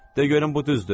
De görüm bu düzdür?